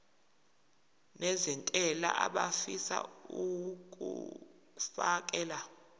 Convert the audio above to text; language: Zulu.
nezentela abafisa uukfakela